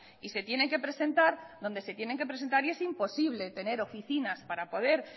y se tienen que presentar donde se tienen que presentar y es imposible tener oficinas para poder